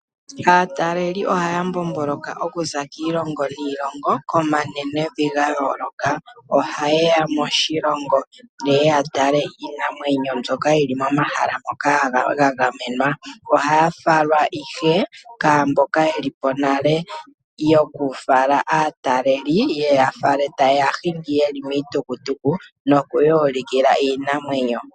Aataleli oha ya mbomboloka okuza kiilongo niilongo, ko manenevi gayooloka, oha ye ya moshilongo ye ye yatale iinamwenyo mbyoka yi li momahala ngoka ga gamenwa, oha ya falwa ihe kwaaamboka ye lipo nale yoku fala aataleli, ta ye ya hingi ye li miitukutuku, no ku ya ulikila iinamwenyo.